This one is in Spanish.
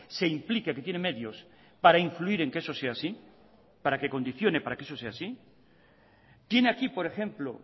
se implique que tiene medios para influir en que eso sea así para que condiciones para que eso sea así tiene aquí por ejemplo